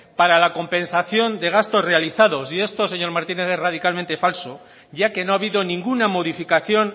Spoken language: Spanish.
para la compensación de gastos realizados y esto señor martínez es radicalmente falso ya que no ha habido ninguna modificación